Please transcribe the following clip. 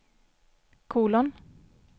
kolon